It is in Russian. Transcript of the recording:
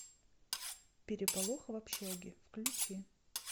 переполох в общаге включи